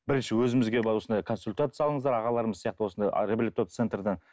бірінші өзімізге барып осындай консультация алыңыздар ағаларымыз сияқты осындай центрден